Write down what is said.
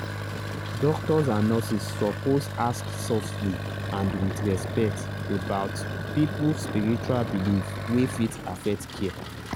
doctors and nurses suppose ask softly and with respect about people spiritual belief wey fit affect care.